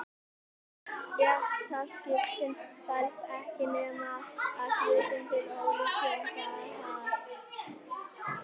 Stéttaskiptingin felst ekki nema að hluta til í ólíkum fjárhag.